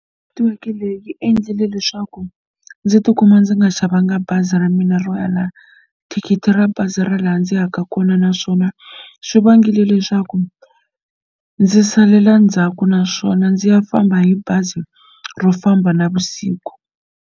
Netiweke leyi yi endlile leswaku ndzi ti kuma ndzi nga xavanga bazi ra mina ro ya la thikithi ra bazi ra laha ndzi yaka kona naswona swi vangile leswaku ndzi salela ndzhaku naswona ndzi ya famba hi bazi ro famba navusiku.